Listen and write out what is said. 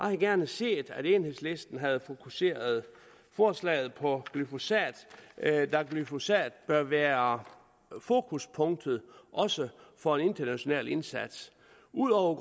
havde gerne set at enhedslisten havde fokuseret forslaget på glyphosat da glyphosat bør være forbudspunktet også for en international indsats ud over